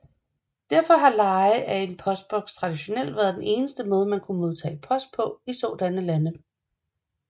Derfor har leje af en postboks traditionelt været den eneste måde man kunne modtage post på i sådanne lande